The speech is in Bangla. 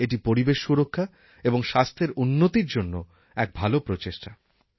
এটি পরিবেশ সুরক্ষা এবং স্বাস্থ্যের উন্নতির জন্য এক ভাল প্রচেষ্টা